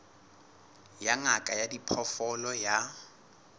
ya ngaka ya diphoofolo ya